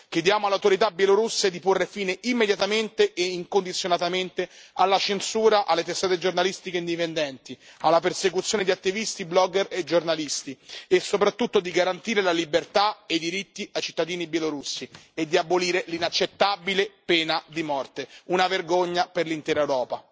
Chiediamo alle autorità bielorusse di porre fine immediatamente e incondizionatamente alla censura delle testate giornalistiche indipendenti, alla persecuzione di attivisti, blogger e giornalisti e, soprattutto, di garantire la libertà e i diritti ai cittadini bielorussi e di abolire l'inaccettabile pena di morte, una vergogna per l'intera Europa.